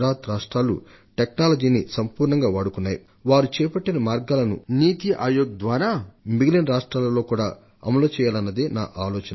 ఈ రాష్ట్రాలు చేపట్టిన అమిత విజయవంతమైన ప్రయత్నాలను భవిష్యత్తులో నీతి ఆయోగ్ ద్వారా ఇతర రాష్ట్రాలకు కూడా వర్తింపచేయాలని నేను కోరుకుంటున్నాను